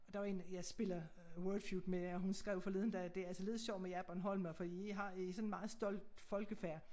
Der var en jeg spiller Wordfeud med og hun skrev forleden dag det altså lidt sjovt med jer bornholmere for i har i sådan et meget stolt folkfærd